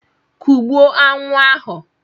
Kụgbuo aṅụ ahụ!